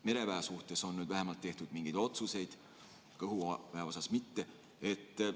Mereväe kohta on nüüd tehtud vähemalt mingeid otsuseid, õhuväe kohta mitte.